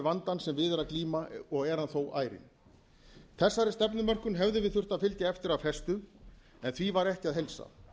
vandann sem við er að glíma og er hann þó ærinn þessari stefnumörkun hefðu við þurft að fylgja eftir af festu en því var ekki að heilsa